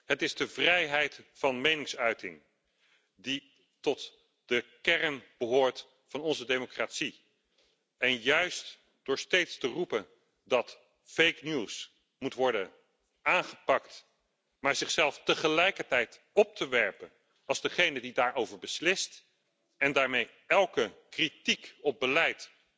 Het is de vrijheid van meningsuiting, die tot de kern behoort van onze democratie. Juist door steeds te roepen dat fake news moet worden aangepakt, maar zichzelf tegelijkertijd op te werpen als degene die daarover beslist en daarmee elke kritiek op beleid